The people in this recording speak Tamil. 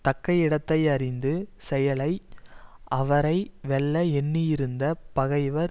தக்க இடத்தை அறிந்து செயலை அவரை வெல்ல எண்ணியிருந்த பகைவர்